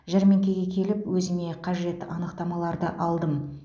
жәрмеңкеге келіп өзіме қажет анықтамаларды алдым